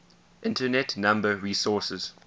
internet number resources